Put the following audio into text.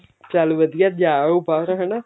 ਚੱਲ ਵਧੀਆ ਜਾ ਆਓ ਬਾਹਰ ਹਨਾ